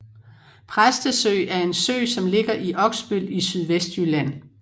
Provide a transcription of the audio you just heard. Præstesø er en sø som ligger i Oksbøl i Sydvestjylland